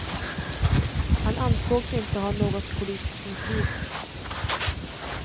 Han ansågs inte ha något politiskt motiv.